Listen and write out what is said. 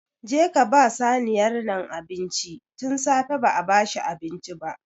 Je ka ba saniyar nan abinci! Tun safe ba a ba shi abinci ba.